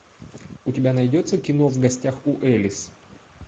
у тебя найдется кино в гостях у элис